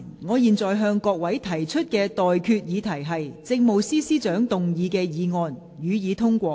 我現在向各位提出的待決議題是：政務司司長動議的議案，予以通過。